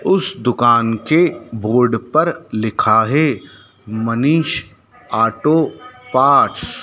उस दुकान के बोर्ड पर लिखा है मनीष ऑटो पार्ट्स ।